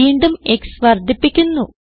വീണ്ടും x വർദ്ധിപ്പിക്കുന്നു